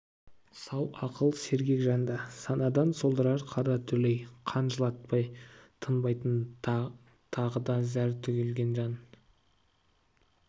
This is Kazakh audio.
сау ақыл сергек жанды санадан солдырар қара дүлей қан жылатпай тынбайтын тағы да зәр төгілген жан